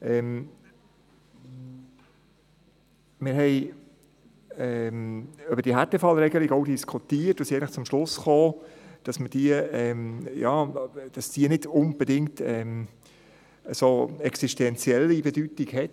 Wir diskutierten die Härtefallregelung und kamen zum Schluss, dass diese für die Wasserversorgung eigentlich nicht unbedingt eine so existentielle Bedeutung hat.